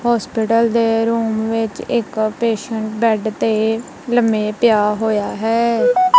hospital ਦੇ room ਵਿੱਚ ਇੱਕ ਪੇਸ਼ੇਏਂਟ ਬੇਡ ਤੇ ਲਮ੍ਹੇ ਪਿਆ ਹੋਇਆ ਹੈ